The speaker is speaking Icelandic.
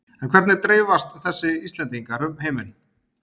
En hvernig dreifast þessi Íslendingar um heiminn?